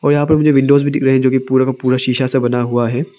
और यहां पर मुझे विंडोज भी दिख रहे है जोकि पूरा का पूरा सीसा से बना हुआ है।